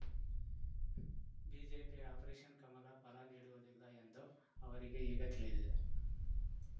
ಬಿಜೆಪಿಯ ಆಪರೇಷನ್‌ ಕಮಲ ಫಲ ನೀಡುವುದಿಲ್ಲ ಎಂದು ಅವರಿಗೆ ಈಗ ತಿಳಿದಿದೆ